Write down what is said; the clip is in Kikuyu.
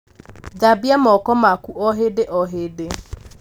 thambia moko maku o hĩndĩ o hĩndĩ